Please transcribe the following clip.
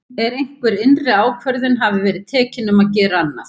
En einhver innri ákvörðun hafði verið tekin um að gera annað.